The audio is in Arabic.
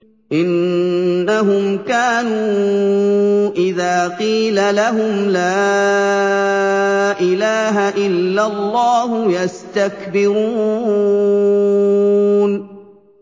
إِنَّهُمْ كَانُوا إِذَا قِيلَ لَهُمْ لَا إِلَٰهَ إِلَّا اللَّهُ يَسْتَكْبِرُونَ